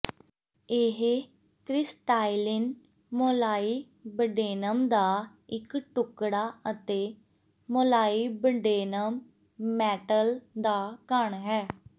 ਇਹ crystalline molybdenum ਦਾ ਇੱਕ ਟੁਕੜਾ ਅਤੇ ਮੋਲਾਈਬਡੇਨਮ ਮੈਟਲ ਦਾ ਘਣ ਹੈ